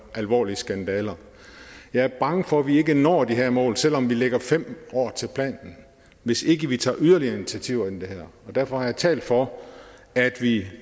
alvorlige skandaler jeg er bange for at vi ikke når de her mål selv om vi lægger fem år til planen hvis ikke vi tager yderligere initiativer end det her og derfor har jeg talt for at vi